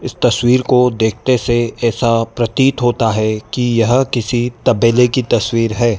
इस तस्वीर को देखते से ऐसा प्रतीत होता है कि यह किसी तबेले की तस्वीर है।